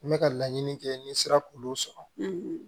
N bɛ ka laɲini kɛ n sera k'olu sɔrɔ